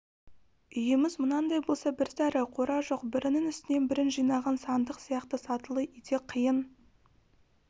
үйіміз мынандай болса бір сәрі қора жоқ бірінің үстіне бірін жинаған сандық сияқты сатылы үйде қиын